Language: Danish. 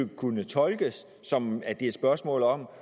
kunne tolkes som at det er et spørgsmål om